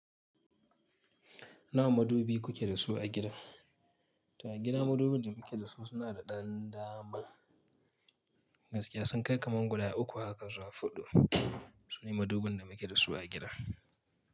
Nawa madubi kuke da su a gida? To a gida madubin da muke da su suna da ɗan dama. Gaskiya sun kai kamar guda uku haka zuwa fuɗu. Sune madubin da muke da su a gida.